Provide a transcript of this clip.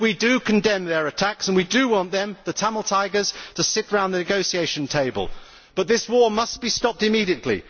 We do condemn their attacks and we do want them, the Tamil Tigers, to sit round the negotiating table, but this war must be stopped immediately.